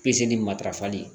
Pezeli matarafali